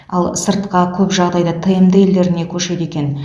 ал сыртқа көп жағдайда тмд елдеріне көшеді екен